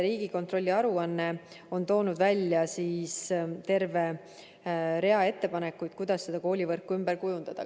Riigikontrolli aruandes on toodud eraldi välja terve rida ettepanekuid, kuidas koolivõrku ümber kujundada.